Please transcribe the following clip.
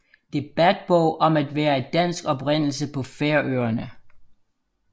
Debatbog om at være af dansk oprindelse på Færøerne